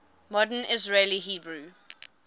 modern israeli hebrew